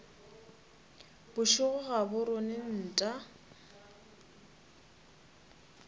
bošego ga bo rone nta